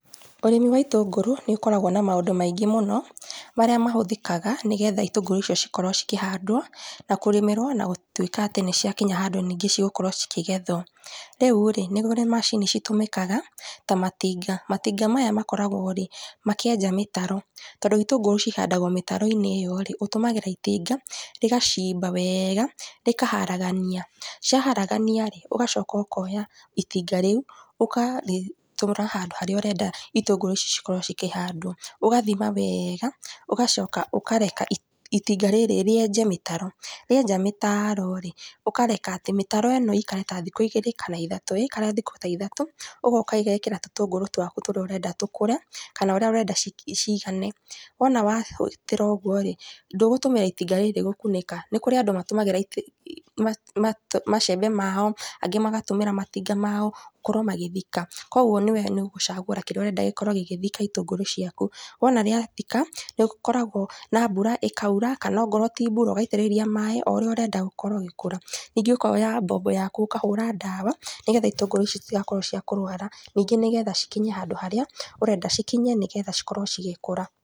Ũrĩmi wa itũngũrũ, nĩũkoragwo na maũndũ maingĩ mũno, marĩa mahũthĩkaga, nĩguo itũngũrũ icio cikorwo cikĩhandwo, na kũrĩmĩrwo na gũtuĩka atĩ nĩciakinya handũ ningĩ cigũkorwo cikĩgethwo, rĩu rĩ, nĩkũrĩ macini citũmĩkaga, ta matinga, matinga maya makoragwo rĩ, makĩenja mĩtaro. Tondũ itũngũrũ cihandagwo mĩtaro-inĩ ĩyo rĩ, ũtũmagĩra itinga, rĩgacimba wega, rĩkaharagania, ciaharagania rĩ, ũgacoka ũkoya itinga rĩu, ũka rĩtwara handũ harĩa ũrenda itũngũrũ icio cikorwo cikĩhandwo. Ũgathima wega, ũgacoka ũkareka iti itinga rĩrĩ rĩenje mĩtaro, rĩenja mĩtaro rĩ, ũkareka atĩ mĩtaro ĩno ĩikare ta thikũ igĩrĩ, kana ithatũ, yaikara thikũ ta ithatũ, ũgoka ĩgekĩra tũtũngũrũ twaku tũrĩa ũrenda tũkũre, kana ũrĩa ũrenda ci cigane, wona wa ruta ũguo rĩ, ndũgũtũmĩra itinga rírĩ gũkunĩka, nĩ kũrĩ andũ matúmagĩra iti ma macembe mao, angĩ magatũmĩra matinga mao, gũkorwo magĩthika, koguo nĩwe nĩũgũcagũra kĩrĩa ũrenda gĩkorwo gĩgĩthika itũngũrũ ciaku, wona gĩathika, nĩgũkoragwo na mbura ĩkaura, kana okorwo ti mbura, ũgaitĩrĩria maĩ oũrĩa ũrenda gũkorwo ũgĩkũra, ningĩ ũkoya mbombo yaku ũkahũra ndawa, nĩgetha itũngũrũ ici citagũkorwo cia kũrwara, ningĩ nĩgetha cikinyie handũ harĩa ũrenda cikinye nĩgetha cikorwo cigĩkũra.